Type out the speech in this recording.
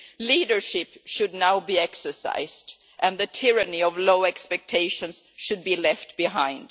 Leadership should now be exercised and the tyranny of low expectations should be left behind.